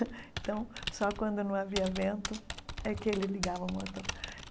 Então, só quando não havia vento é que ele ligava o motor.